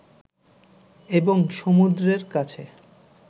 এবং সমুদ্রের কাছে